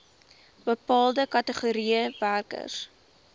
bepaalde kategorieë werkers